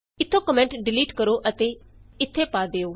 ਇਥੋਂ comment delete ਕਰੋ ਤੇ ਇਥੇ ਪਾ ਦਿਉ